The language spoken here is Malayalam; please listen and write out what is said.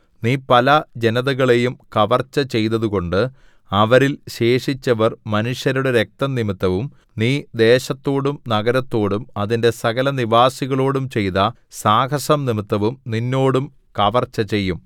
നീ പല ജനതകളെയും കവർച്ച ചെയ്തതുകൊണ്ട് അവരിൽ ശേഷിച്ചവർ മനുഷ്യരുടെ രക്തംനിമിത്തവും നീ ദേശത്തോടും നഗരത്തോടും അതിന്റെ സകലനിവാസികളോടും ചെയ്ത സാഹസംനിമിത്തവും നിന്നോടും കവർച്ച ചെയ്യും